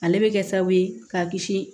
Ale bɛ kɛ sababu ye k'a kisi